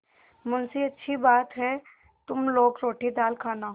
मुंशीअच्छी बात है तुम लोग रोटीदाल खाना